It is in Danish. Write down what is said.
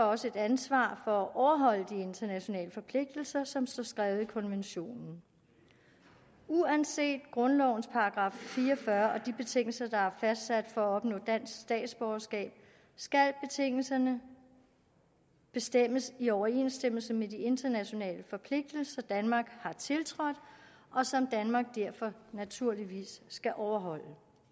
også et ansvar for at overholde de internationale forpligtelser som står skrevet i konventionen uanset grundlovens § fire og fyrre og de betingelser der er fastsat for at opnå dansk statsborgerskab skal betingelserne bestemmes i overensstemmelse med de internationale forpligtelser danmark har tiltrådt og som danmark derfor naturligvis skal overholde